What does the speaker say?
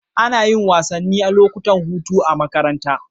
Ana yin wasanni a lokacin hutu a makaranta